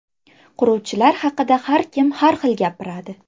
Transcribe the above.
Quruvchilar haqida har kim har xil gapiradi.